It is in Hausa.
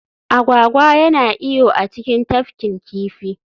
Agwagwa yana iyo a cikin tafkin kifi